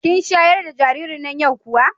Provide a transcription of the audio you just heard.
Kin sharar da jaririn nan yau kuwa?